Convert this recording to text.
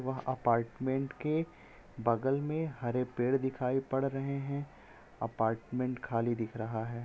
वह अपार्टमेंट के बगल में हरे पेड़ दिखाई पड़ रहे है अपार्टमेंट खाली दिख रहा है।